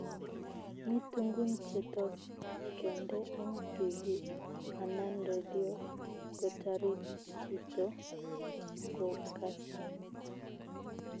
Mi tungun che tos keende eng tv anan radio kotarit chito kokasta